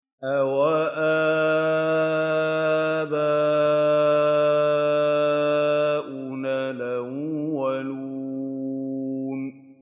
أَوَآبَاؤُنَا الْأَوَّلُونَ